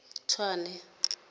tswane